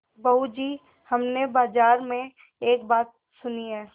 बहू जी हमने बाजार में एक बात सुनी है